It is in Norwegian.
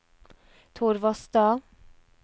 Torvastad